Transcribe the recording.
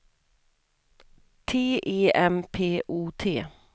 T E M P O T